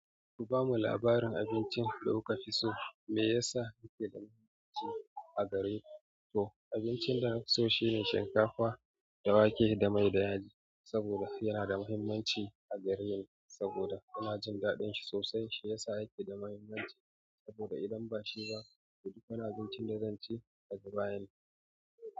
Ku bamu labarin abincin da kuka fi so mai yasa yake da muhimmanci a gareku? To abincin da na fi so shine shinkafa da wake da mai da yaji saboda yana da muhimmanci a gareni saboda ina jin daɗin shi sosai. Shi ya sa yake da muhimmanci saboda idan ba shi ba, ɗuk wani abincin da zan ci daga baya ne.